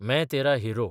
मैं तेरा हिरो